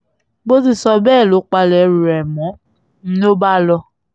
bó ti sọ bẹ́ẹ̀ ló palẹ̀ ẹrù rẹ̀ mò ń lọ bá lọ